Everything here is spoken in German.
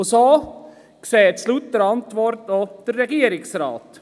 So sieht es laut Antwort auch der Regierungsrat.